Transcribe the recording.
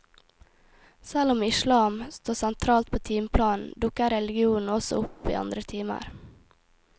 Selv om islam står sentralt på timeplanen, dukker religionen også opp i andre timer.